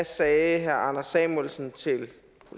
sagde herre anders samuelsen til